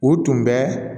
U tun bɛ